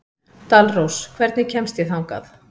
Dalrós, hvernig kemst ég þangað?